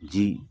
Ji